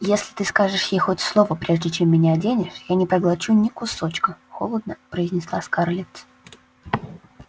если ты скажешь ей хоть слово прежде чем меня оденешь я не проглочу ни кусочка холодно произнесла скарлетт